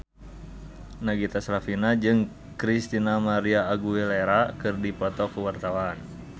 Nagita Slavina jeung Christina María Aguilera keur dipoto ku wartawan